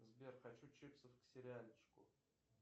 сбер хочу чипсов к сериальчику